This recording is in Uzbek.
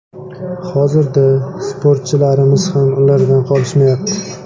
Hozirda sportchilarimiz ham ulardan qolishmayapti.